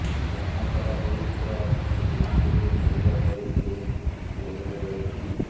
ଜାମତରା ପୁଲିସର ରିମାଣ୍ଡରୁ ଫେରିବା ପରେ ସେ ଜେଲ୍ରେ ରହିଛି